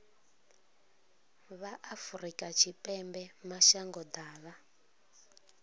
vha afrika tshipembe mashango ḓavha